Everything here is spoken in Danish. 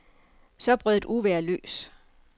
Så brød et uvejr løs.